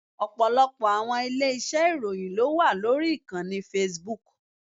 Ọ̀pọ̀lọpọ̀ àwọn ilé iṣẹ́ ìròyìn ló wà lórí ìkànnì Facebook.